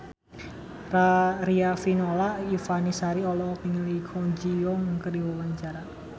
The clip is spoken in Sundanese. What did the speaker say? Riafinola Ifani Sari olohok ningali Kwon Ji Yong keur diwawancara